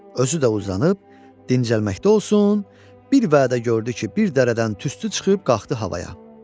Özü də uzanıb dincəlməkdə olsun, bir vədə gördü ki, bir dərədən tüstü çıxıb qalxdı havaya.